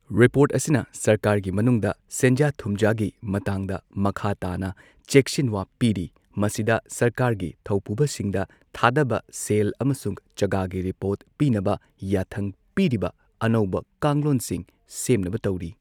Report ꯑꯁꯤꯅ ꯁꯔꯀꯥꯔꯒꯤ ꯃꯅꯨꯡꯗ ꯁꯦꯟꯖꯥ ꯊꯨꯝꯖꯥꯒꯤ ꯃꯇꯥꯡꯗ ꯃꯈꯥ ꯇꯥꯅ ꯆꯦꯛꯁꯤꯟꯋꯥ ꯄꯤꯔꯤ, ꯃꯁꯤꯗ ꯁꯔꯀꯥꯔꯒꯤ ꯊꯧꯄꯨꯕꯁꯤꯡꯗ ꯊꯥꯗꯕ ꯁꯦꯜ ꯑꯃꯁꯨꯡ ꯆꯒꯥꯒꯤ ꯔꯤꯄꯣꯔꯠ ꯄꯤꯅꯕ ꯌꯥꯊꯪ ꯄꯤꯔꯤꯕ ꯑꯅꯧꯕ ꯀꯥꯡꯂꯣꯟꯁꯤꯡ ꯁꯦꯝꯅꯕ ꯇꯧꯔꯤ꯫